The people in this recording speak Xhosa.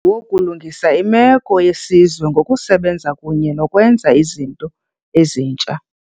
wokulungisa imeko yesizwe ngo kusebenza kunye nokwenza izinto ezintsha.